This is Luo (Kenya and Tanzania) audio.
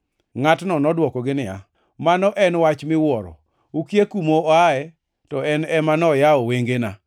Ngʼatno nodwokogi niya, “Mano en wach miwuoro! Ukia kuma oaye to en ema noyawo wengena?